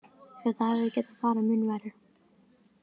Þetta hefði getað farið mun verr.